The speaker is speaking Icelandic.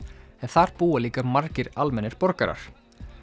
en þar búa líka margir almennir borgarar